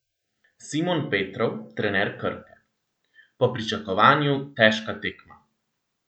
Simon Petrov, trener Krke: "Po pričakovanju težka tekma.